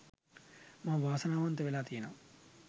මම වාසනාවන්ත වෙලා තියෙනව.